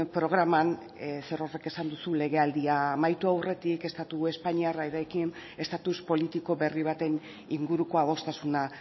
programan zerorrek esan duzu legealdia amaitu aurretik estatu espainolarekin estatus politiko berri baten inguruko adostasuna